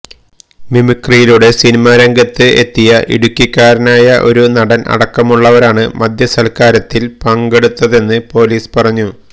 മിമിക്രിയിലൂടെ cinema രംഗത്ത് എത്തിയ ഇടുക്കിക്കാരനായ ഒരു നടൻ അടക്കമുള്ളവരാണ് മദ്യസൽക്കാരത്തിൽ പങ്കെടുത്തതെന്ന് പൊലീസ് പറഞ്ഞു